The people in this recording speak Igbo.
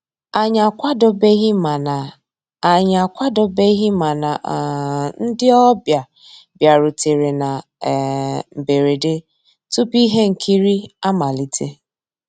Ànyị́ àkwàdóbéghí màná Ànyị́ àkwàdóbéghí màná um ndị́ ọ̀bịá bìàrùtérè ná um mbérèdé túpú íhé nkírí àmàlíté.